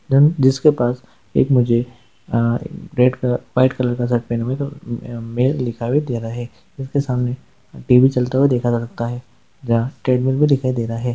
जिसके पास एक मुझे उम रेड क व्हाइट कलर का भी दे रहा है उसके सामने टीवी चलता हुआ देखा जाता है। भी दिखाई दे रहा--